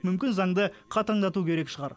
мүмкін заңды қатаңдату керек шығар